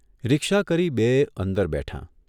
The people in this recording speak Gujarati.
રિક્ષા કરી બેય અંદર બેઠાં.